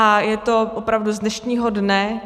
A je to opravdu z dnešního dne.